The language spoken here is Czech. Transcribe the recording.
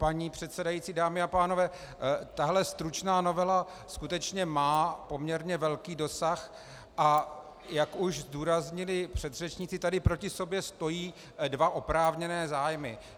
Paní předsedající, dámy a pánové, tahle stručná novela skutečně má poměrně velký dosah, a jak už zdůraznili předřečníci, tady proti sobě stojí dva oprávněné zájmy.